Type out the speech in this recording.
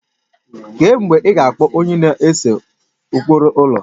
Kee mgbe ị ga akpọ onye na-ese ụkpụrụ ụlọ?